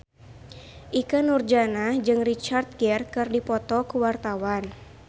Ikke Nurjanah jeung Richard Gere keur dipoto ku wartawan